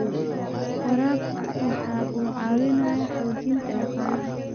Waraabku waxa uu caawiyaa xoojinta dhaqaalaha.